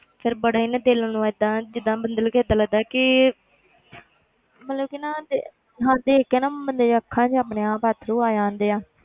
ਫਿਰ ਬੜਾ ਹੀ ਨਾ ਦਿਲ ਨੂੰ ਏਦਾਂ ਜਿੱਦਾਂ ਬੰਦੇ ਨੂੰ ਵੀ ਏਦਾਂ ਲੱਗਦਾ ਕਿ ਮਤਲਬ ਕਿ ਨਾ ਦੇ~ ਹਾਂ ਦੇਖ ਕੇ ਨਾ ਬੰਦੇ ਦੀਆਂ ਅੱਖਾਂ 'ਚ ਆਪਣੇ ਆਪ ਅੱਥਰੂ ਆ ਜਾਂਦੇ ਆ।